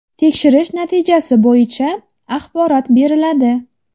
Tekshirish natijasi bo‘yicha axborot beriladi.